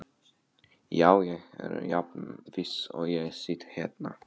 Já ég er jafn viss og ég sit hérna.